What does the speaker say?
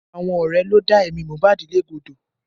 Àwọn ọ̀rẹ́ ló dá ẹ̀mí Mohbad légbodò